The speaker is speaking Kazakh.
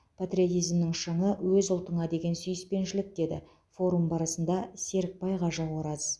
патриотизмнің шыңы өз ұлтыңа деген сүйіспеншілік деді форум барысында серікбай кажы ораз